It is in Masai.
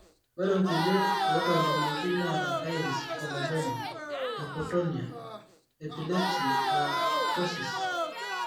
ore kulie ootolimuoki neeta iris coloboma, hypotonia, epilepsy o ptosis.